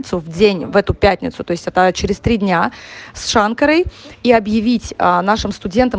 в день в эту пятницу то есть через три дня с шанкрой и объявить нашим студентам